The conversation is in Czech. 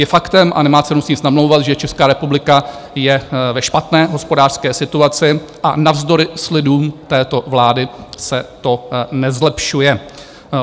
Je faktem, a nemá cenu si nic namlouvat, že Česká republika je ve špatné hospodářské situaci, a navzdory slibům této vlády se to nezlepšuje.